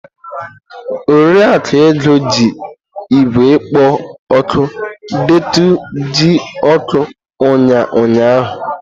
Oriakụ Ego ji igwe ikpō oku deetu iji oku unya ụnyahụ.